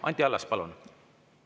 Anti Allas, palun!